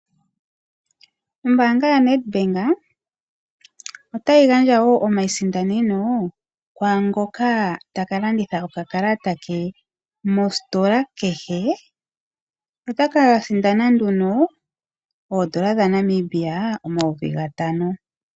Ombanga yaNedbank otayi gandja wo omasindaneno kwaa ngok taka landitha okakalata ke mositola kehe. Nota ka sindana nduno omayovi gatano.